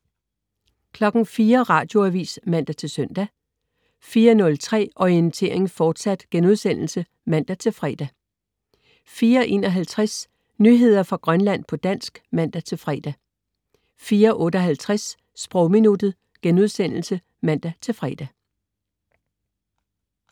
04.00 Radioavis (man-søn) 04.03 Orientering, fortsat* (man-fre) 04.51 Nyheder fra Grønland på dansk (man-fre) 04.58 Sprogminuttet* (man-fre)